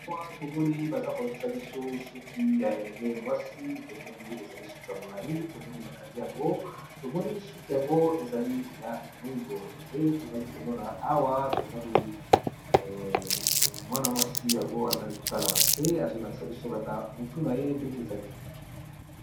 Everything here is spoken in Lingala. Awa tomoni baza kolakisa biso suki ya elenge mwasi tomoni ezali suki ya molai tomoni bakangi yango tomoni suki yango ezali ya mwindo nde tozali komona awa mwana mwasi yango azali kotana na se azolakisa biso kaka motu na ye Ndege ezali